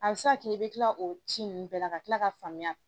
A bɛ se ka kɛ i bɛ tila o ci ninnu bɛɛ ka tila ka faamuya